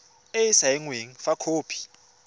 e e saenweng fa khopi